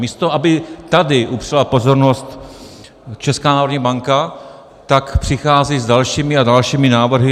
Místo aby tady upřela pozornost Česká národní banka, tak přichází s dalšími a dalšími návrhy.